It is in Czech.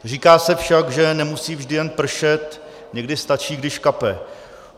Říká se však, že nemusí vždy jen pršet, někdy stačí, když kape.